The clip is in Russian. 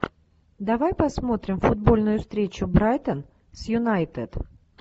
давай посмотрим футбольную встречу брайтон с юнайтед